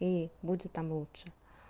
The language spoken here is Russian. и будет там лучше